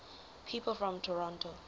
people from toronto